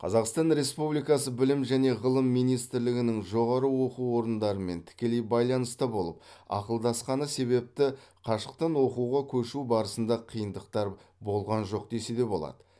қазақстан республикасы білім және ғылым министрлігінің жоғары оқу орындарымен тікелей байланыста болып ақылдасқаны себепті қашықтан оқуға көшу барысында қиындықтар болған жоқ десе болады